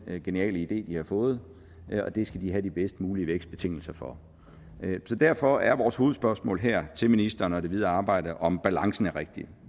geniale idé de har fået og det skal de have de bedst mulige vækstbetingelser for derfor er vores hovedspørgsmål her til ministeren og det videre arbejde om balancen er rigtig